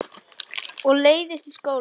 Og leiðist í skóla.